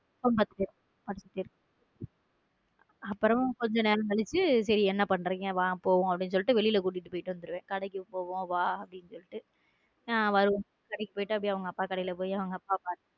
அப்புறம் கொஞ்ச நேரம் கழிச்சு என்ன பண்றீங்க வாங்க போவோம் அப்படின்னு சொல்லிட்டு வெளில கூட்டிட்டு போயிட்டு வந்துடுவேன் கடைக்கு போவோம் வா அப்படின்னு சொல்லிட்டு வரும்போது கடைக்கு போயிட்டு அப்பிடியா அவங்க அப்பா கடைக்கு போய் அவங்க அப்பா பாத்துட்டு.